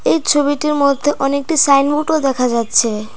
এই ছবিটির মধ্যে অনেকটি সাইনবোর্ডও দেখা যাচ্ছে।